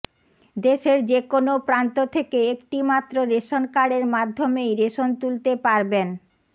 দেশের যে কোনও প্রান্ত থেকে একটি মাত্র রেশন কার্ডের মাধ্যমেই রেশন তুলতে পারবেন